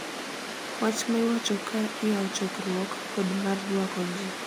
Wach ma iwacho ka iyawo chokruok kod mar rwako ji,